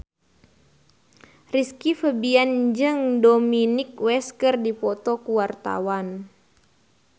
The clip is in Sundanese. Rizky Febian jeung Dominic West keur dipoto ku wartawan